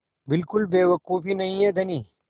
बिल्कुल बेवकूफ़ी नहीं है धनी